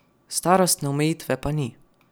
Starostne omejitve pa ni.